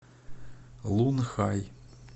лунхай